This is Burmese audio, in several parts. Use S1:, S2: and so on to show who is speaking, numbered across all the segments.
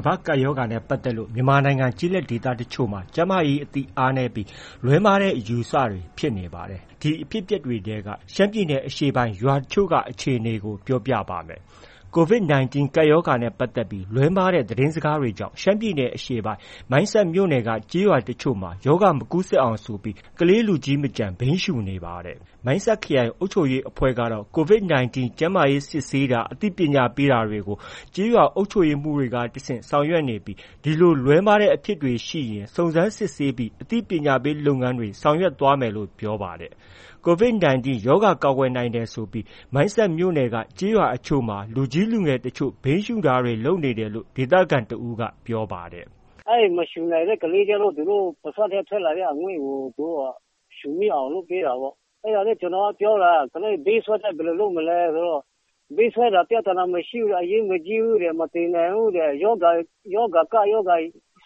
S1: ကမ္ဘာ့ကပ်ရောဂါနဲ့ ပတ်သက်လို့ မြန်မာနိုင်ငံ ကျေးလက်ဒေသအချို့မှာ ကျန်းမာရေးအသိအားနည်းပြီး လွဲမှားတဲ့အယူအဆတွေဖြစ်နေပါတယ်။ ဒီအဖြစ်အပျက်တွေထဲက ရှမ်းပြည်အရှေ့ပိုင်း ရွာအချို့က အခြေအနေကို ပြောပြပါမယ်။ COVID-19 ကပ်ရောဂါနဲ့ ပတ်သက်ပြီး လွဲမှားတဲ့ သတင်းစကားတွေကြောင့် ရှမ်းပြည်နယ်အရှေ့ပိုင်း မိုင်းဆတ်မြို့နယ်က ကျေးရွာတချို့မှာ ရောဂါမကူးစက်အောင်ဆိုပြီး ကလေးလူကြီးမကျန် ဘိန်းရှုနေပါတယ်။ မိုင်းဆတ်ခရိုင်အုပ်ချုပ်ရေးအဖွဲ့ကတော့ COVID-19 ကျန်းမာရေးစစ်ဆေးတာ၊ အသိပညာပေးတာတွေကို ကျေးရွာအုပ်ချုပ်ရေးမှုးတွေကနေ တဆင့် ဆောင်ရွက်နေပြီး ဒီလို လွဲမှားတဲ့အဖြစ်တွေ ရှိရင် စုံစမ်းစစ်ဆေးပြီး အသိပညာပေးလုပ်ငန်းတွေ ဆောင်ရွက်သွားမယ်လို့တော့ ပြောပါတယ်။ COVID-19 ရောဂါကာကွယ်နိုင်တယ်ဆိုပြီး မိုင်းဆက်မြို့နယ်က ကျေးရွာအချို့မှာ လူကြီး လူငယ်အားလုံး ဘိန်းရှုတာတွေ လုပ်နေတယ်လို့ ဒေသခံတဦးက ပြောပါတယ်
S2: ။ “မရှုနိုင်တဲ့ ကလေးကျနော့ အဲဒီပါးစပ်ထဲက ထွက်လာတဲ့ အငွေ့ကို ရှုမိအောင်လုပ်ပေးတာပေါ့။ အဲဒါနဲ့ ကျနော်က ပြောတာ ကလေး ဘိန်းစွဲသွားရင် ဘယ်လို လုပ်မလဲဆိုတော့ ဘိန်းစွဲတာ ပြဿနာမရှိဘူး။ အရေးမကြီးဘူး၊ မသေနိုင်ဘူးတဲ့ ရောဂါ ကပ်ရောဂါ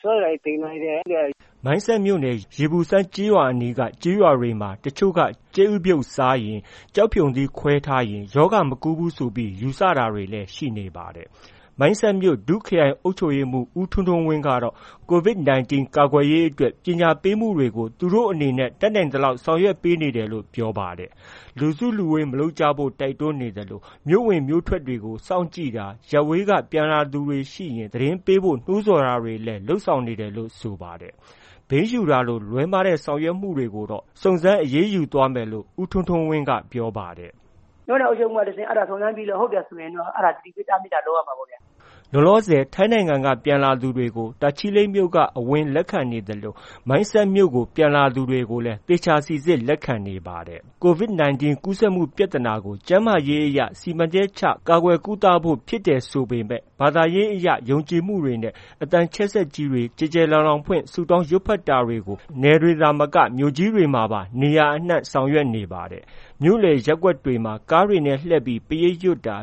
S2: စွဲလာရင် သေမှာတဲ့။”
S1: မိုင်းဆတ်မြို့နယ် ရေပူစမ်းကျေးရွာအနီးအနားက ကျေးရွာတွေမှာ တချို့တွေက ကြက်ဥပြုတ်စားရင်၊ ကျောက်ဖရုံသီးခွဲထားရင် ရောဂါ မကူးဘူးဆိုပြီး ယူဆတာတွေလည်း ရှိနေပါတယ်။ မိုင်းဆက်မြို့နယ် ဒု ခရိုင်အုပ်ချုပ်ရေးမှူး ဦးထွန်းထွန်းဝင်းကတော့ COVID-19 ကာကွယ်ရေးအတွက် ပညာပေးမှုတွေကို သူတို့အနေနဲ့ တတ်နိုင်သလောက်ဆောင်ရွက်ပေးနေပါတယ်လို့ ပြောပါတယ်။ လူစုလူဝေးမလုပ်ကြဖို့နဲ့ တိုက်တွန်းနေသလို၊ မြို့ဝင်မြို့ထွက်တွေမှာ စောင့်ကြည့်တာ၊ အရပ်ဝေးက ပြန်လာသူတွေရှိရင် သတင်းပို့ဖို့ နှိုးဆော်တာတွေလည်း လုပ်နေတယ်လို့ ဆိုပါတယ်။ ဘိန်းရှုတာလို လွဲမှားတဲ့ဆောင်ရွက်မှုတွေကိုတော့ စုံစမ်းအရေးယူသွားမယ်လို့ ဦးထွန်းထွန်းဝင်းက ပြောပါတယ်။ “မြို့နယ်အုပ်ချုပ်ရေးမှူးက
S2: တဆင့် စုံစမ်းစစ်ဆေးပြီးတော့ ဟုတ်တယ်ဆိုရင်တော့ စိစစ်တားမြစ်ရမှာပေါ့ဗျာ။”
S1: လောလောဆယ် ထိုင်းနိုင်ငံက ပြန်လာသူတွေကို တာချီလိတ်အဝင်က လက်ခံနေသလို မိုင်းဆတ်မြို့ကို ပြန်လာသူတွေကိုလည်း သေချာစိစစ်လက်ခံနေပါတယ်။ COVID-19 ကူးစက်မှု ပြသနာကို ကျန်းမာရေးအရ စီမံချက်ချ ကာကွယ်ကုသဖို့ဖြစ်တယ်ဆိုပေမဲ့ ဘာသာရေးအရယုံကြည်မှုတွေနဲ့အသံချက်ကြီးတွေကျယ်ကျယ်လောင်ဖွင့်ဆုတောင်းရွတ်ဖက်နေကြတာတွေကို နယ်တွေတင်မက မြို့ကြီးတွေမှာပါ နေရာအနှံ့ကြားနေရတယ်။ မြို့လယ်ရပ်ကွက်တွေမှာ ကားတွေနဲ့ လှည့်ပြီး ပရိတ်ရွတ်တာ